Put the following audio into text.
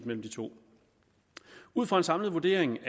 mellem de to ud fra en samlet vurdering